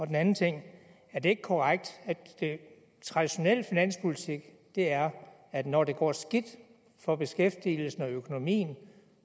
den anden ting er det ikke korrekt at traditionel finanspolitik er at når det går skidt for beskæftigelsen og økonomien